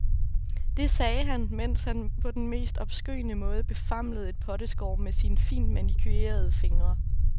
Det sagde han, mens han på den mest obskøne måde befamlede et potteskår med sine fint manicurerede fingre.